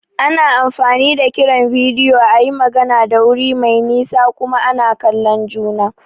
Ana amfani da kiran bidiyo a yi magana da wuri mai nisa kuma ana kallon juna.